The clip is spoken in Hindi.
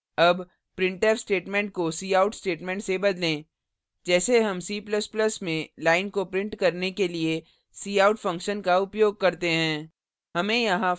अब printf statement को cout statement से बदलें जैसे हम c ++ में line को printf करने के लिए cout <<function का उपयोग करते हैं